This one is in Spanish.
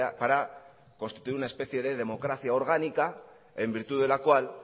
para constituir una especie de democracia orgánica en virtud de lo cual